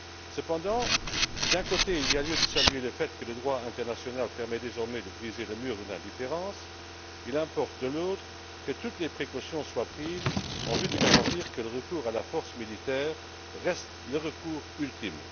Cependant, si d'un côté, il y a lieu de saluer le fait que le droit international permet désormais de briser le mur de l'indifférence, il importe de l'autre que toutes les précautions soient prises en vue de garantir que le recours à la force militaire reste le recours ultime.